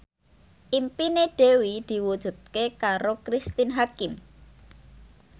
impine Dewi diwujudke karo Cristine Hakim